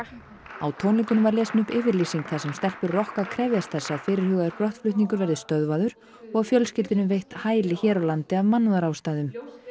á tónleikunum var lesin upp yfirlýsing þar sem stelpur rokka krefjast þess að fyrirhugaður verði stöðvaður og fjölskyldunni veitt hæli hér á landi af mannúðarástæðum